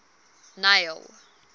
neil